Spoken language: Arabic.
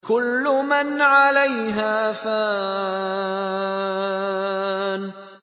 كُلُّ مَنْ عَلَيْهَا فَانٍ